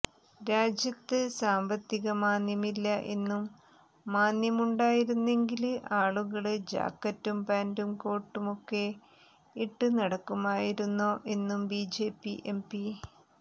രാജ്യത്ത് സാമ്പത്തികമാന്ദ്യമില്ല എന്നും മാന്ദ്യമുണ്ടായിരുന്നെങ്കില് ആളുകള് ജാക്കറ്റും പാന്റും കോട്ടുമൊക്കെ ഇട്ട് നടക്കുമായിരുന്നോ എന്നും ബിജെപി എംപി